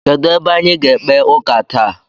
Kedụ ebe anyị ga-ekpe ụka taa?